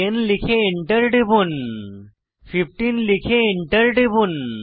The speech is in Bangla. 10 লিখে এন্টার টিপুন 15 লিখে এন্টার টিপুন